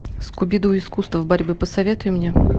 скуби ду искусство борьбы посоветуй мне